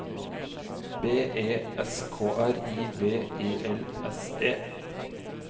B E S K R I V E L S E